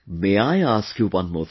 May I ask you one more thing